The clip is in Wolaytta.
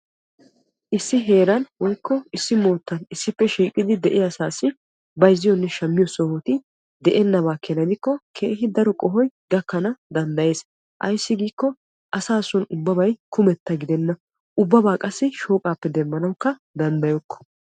issi heeran woyikko issi moottan issippe shiiqidi de'iya asaassi bayizziyoonne shammiyo sohoti de'ennaba keena gidikko keehi daro qohoy gakkana danddayees. ayissi giikko asaa son ubbabay kumetta gidenna. ubbabaa qassi shooqaappe demmanawukka danddayokko.